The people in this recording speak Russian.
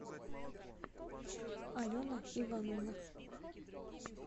алена ивановна